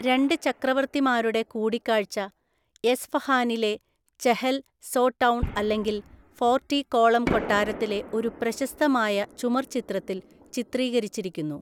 രണ്ട് ചക്രവർത്തിമാരുടെ കൂടിക്കാഴ്ച എസ്ഫഹാനിലെ ചെഹൽ സോടൗൺ അല്ലെങ്കിൽ ഫോർട്ടി കോളം കൊട്ടാരത്തിലെ ഒരു പ്രശസ്തമായ ചുമർചിത്രത്തിൽ ചിത്രീകരിച്ചിരിക്കുന്നു.